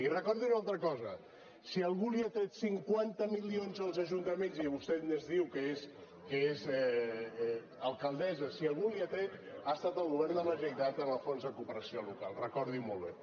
i recordin una altra cosa si algú els ha tret cinquanta milions als ajuntaments i vostè diu que és alcaldessa si algú els ha tret ha estat el govern de la generalitat en el fons de cooperació local recordin ho molt bé